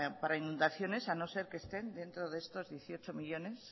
para inundaciones a no ser que estén dentro de estos dieciocho millónes